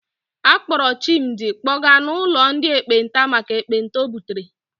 A kpọọrọ Chimdi kpọga n'ụlọ ndị ekpenta maka ekpenta o butere.